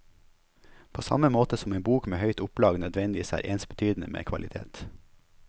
På samme måte som en bok med høyt opplag nødvendigvis er ensbetydende med kvalitet.